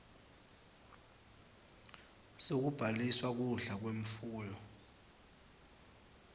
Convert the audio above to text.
sekubhaliswa kudla kwemfuyo